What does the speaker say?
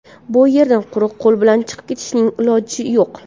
Bu yerdan quruq qo‘l bilan chiqib ketishning iloji yo‘q!